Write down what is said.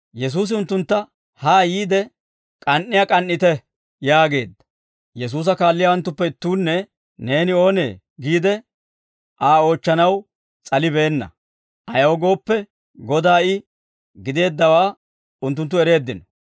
Yesuusi unttuntta, «Ha yiide, k'an"iyaa k'an"ite» yaageedda. Yesuusa kaalliyaawanttuppe ittuunne, «Neeni oonee?» giide Aa oochchanaw s'alibeenna; ayaw gooppe, Godaa I gideeddawaa unttunttu ereeddino.